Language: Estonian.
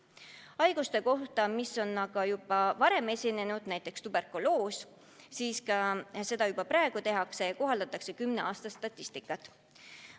Haiguste puhul, mis on juba varem esinenud, näiteks tuberkuloos, kohaldatakse aga tõesti kümne aasta statistikat.